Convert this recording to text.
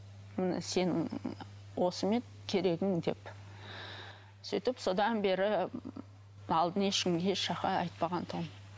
міне сенің осы ма еді керегің деп сөйтіп содан бері алдын ешкім еш жаққа айтпаған тұғынмын